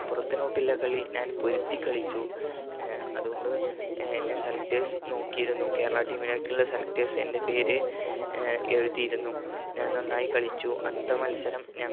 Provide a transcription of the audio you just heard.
മലപ്പുറത്തിനോടുള്ള കളി ഞാൻ പൊരുതി കളിച്ചു അതുകൊണ്ട് ഏർ എന്നെ selectors നോക്കിയിരുന്നു കേരള team ലേക്കുള്ള selectors എൻ്റെ പേര് ഏർ എഴുതിയിരുന്നു ഞാൻ നന്നായി കളിച്ചു അന്നത്തെ മത്സരം